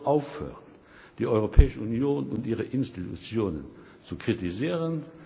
Man soll aufhören, die Europäische Union und ihre Institutionen zu kritisieren.